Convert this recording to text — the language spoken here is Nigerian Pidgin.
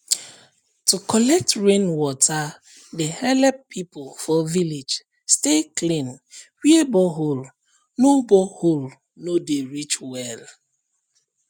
to collect rain water dey help people for village stay clean where borehole no borehole no dey reach well